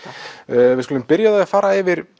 við skulum byrja á því að fara yfir